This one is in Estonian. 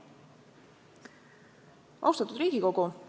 Austatud Riigikogu!